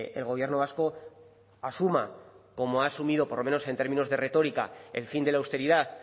el gobierno vasco asuma como ha asumido por lo menos en términos de retórica el fin de la austeridad